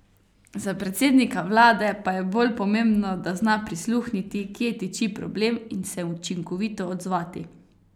Za predsednika vlade pa je bolj pomembno, da zna prisluhniti, kje tiči problem, in se učinkovito odzvati.